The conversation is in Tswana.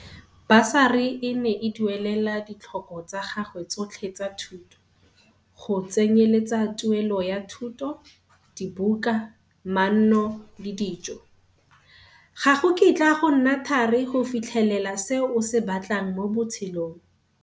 Basari e ne e duelela ditlhoko tsa gagwe tsotlhe tsa thuto, go tsenyeletsa tuelo ya thuto, dibuka, manno le dijo. Ga go kitla go nna thari go fitlhelela se o se batlang mo botshelong.